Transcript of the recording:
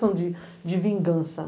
questão de de vingança.